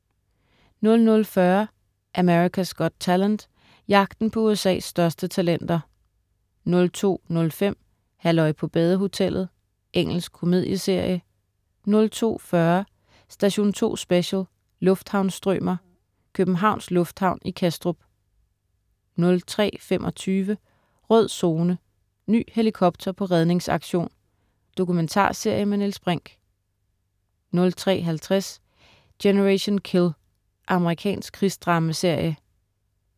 00.40 America's Got Talent. Jagten på USA's største talenter 02.05 Halløj på badehotellet. Engelsk komedieserie 02.40 Station 2 Special: Lufthavnsstrømer, Københavns Lufthavn i Kastrup 03.25 Rød Zone: Ny helikopter på redningsaktion. Dokumentarserie med Niels Brinch 03.50 Generation Kill. Amerikansk krigsdramaserie